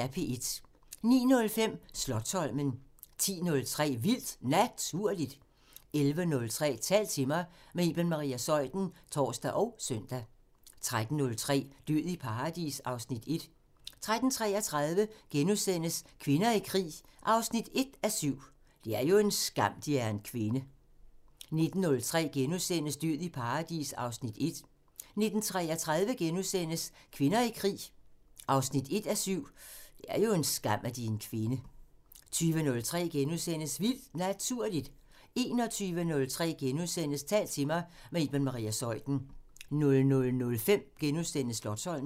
09:05: Slotsholmen 10:03: Vildt Naturligt 11:03: Tal til mig – med Iben Maria Zeuthen (tor og søn) 13:03: Død i paradis (Afs. 1) 13:33: Kvinder i krig 1:7 – "Det er jo en skam, De er kvinde" 19:03: Død i paradis (Afs. 1)* 19:33: Kvinder i krig 1:7 – "Det er jo en skam, De er kvinde" * 20:03: Vildt Naturligt * 21:03: Tal til mig – med Iben Maria Zeuthen * 00:05: Slotsholmen *